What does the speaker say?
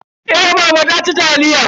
Eh mama ta ci taliyan.